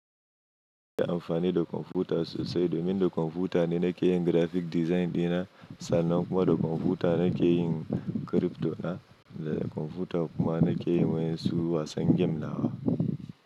Ina amfani da kwamfuta sosai domin da kwamfuta ne na ke yin graphic design dina sannan kuma da kwamfuta na ke yin crypto na da kwamfuta kuma na ke yin wa'insu wasan game nawa.